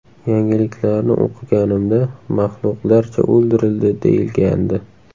Yangiliklarni o‘qiganimda ‘maxluqlarcha o‘ldirildi‘, deyilgandi.